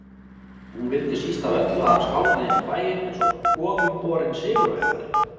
Hún vildi síst af öllu að hann skálmaði inn í bæinn einsog goðumborinn sigurvegari.